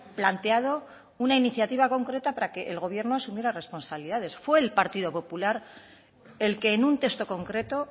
planteado una iniciativa concreta para que el gobierno asumiera responsabilidades fue el partido popular el que en un texto concreto